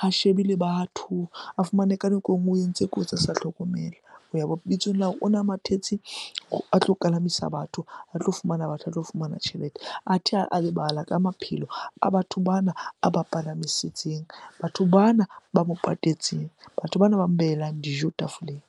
ha shebe le batho. A fumane ka nako e nngwe o entse kotsi a sa hlokomela bitsong la hore ona a mathetse a tlo kalamisa batho, a tlo fumana batho, a tlo fumana tjhelete. Athe a lebala ka maphelo a batho bana a ba palamisitseng, batho bana ba mo patetseng, batho bana ba mo behelang dijo tafoleng.